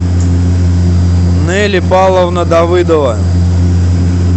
нелли павловна давыдова